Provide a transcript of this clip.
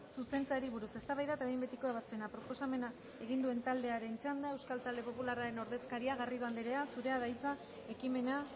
zuzentzeari buruz eztabaida eta behin betiko ebazpena proposamena egin duen taldearen txanda euskal talde popularraren ordezkaria garrido andrea zurea da hitza ekimena